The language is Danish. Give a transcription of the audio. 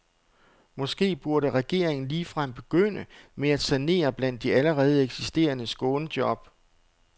Måske burde regeringen ligefrem begynde med at sanere blandt de allerede eksisterende skånejob.